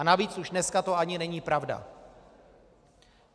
A navíc už dneska to ani není pravda.